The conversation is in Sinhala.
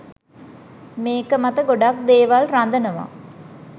මේක මත ගොඩක් දේවල් රඳනවා.